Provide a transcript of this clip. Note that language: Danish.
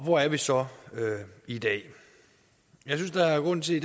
hvor er vi så i dag jeg synes der er grund til